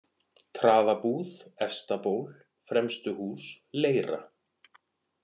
Traðabúð, Efstaból, Fremstuhús, Leira